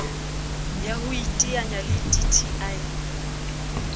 ya ho iteanya le dti